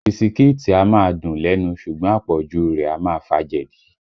Bisikíìtì a máa dùn lẹ́nu ṣùgbọ́n àpọ̀jù u rẹ̀ a máa fa jẹ̀dí